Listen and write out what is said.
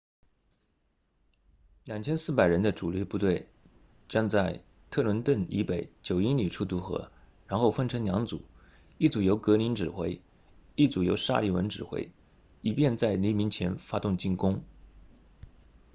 2400人的主力部队将在特伦顿 trenton 以北9英里处渡河然后分成两组一组由格林 greene 指挥一组由沙利文 sullivan 指挥以便在黎明前发动进攻